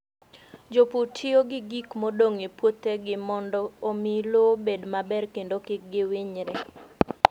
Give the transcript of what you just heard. Jopur tiyo gi gik modong' e puothegi mondo omi lowo obed maber kendo kik giwinyre.